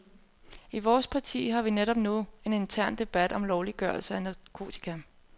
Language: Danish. I vores parti har vi netop nu en intern debat om lovliggørelse af narkotika.